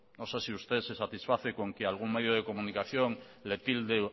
no sé si usted se satisface con que algún medio de comunicación le tilde